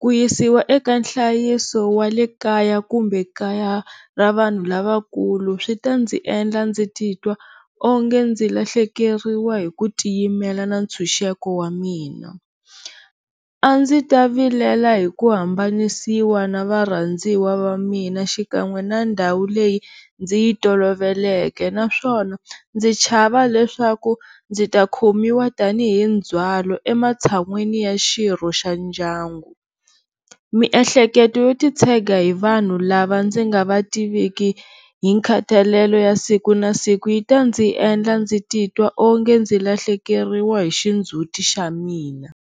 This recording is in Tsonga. ku yisiwa eka nhlayiso wa le kaya kumbe kaya ra vanhu lavakulu swi ta ndzi endla ndzi titwa onge ndzi lahlekeriwa hi ku tiyimela na ntshunxeko wa mina, a ndzi ta vilela hi ku hambanisiwa na varhandziwa va mina xikan'we na ndhawu leyi ndzi yi toloveleke naswona ndzi chava leswaku ndzi ta khomiwa tanihi ndzhwalo ematshan'wini ya xirho xa ndyangu, miehleketo yo ti tshega hi vanhu lava ndzi nga va tiviku hi khatalelo ya siku na siku yi ta ni endla ndzi titwa onge ndzi lahlekeriwa hi xindzhuti xa mina.